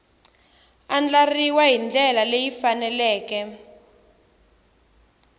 andlariwangi hi ndlela leyi faneleke